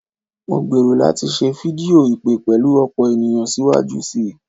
Mo gbero lati se fidio ipe pelu opo eniyan siwaju sii